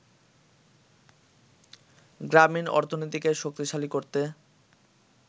গ্রামীণ অর্থনীতিকে শক্তিশালী করতে